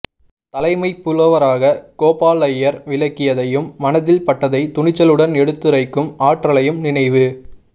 தலைமைப் புலவராகக் கோபாலையர் விளங்கியதையும் மனதில் பட்டதைத் துணிச்சலுடன் எடுத்துரைக்கும் ஆற்றலையும் நினைவு